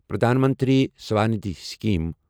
پرٛدھان منتری سوندھی سِکیٖم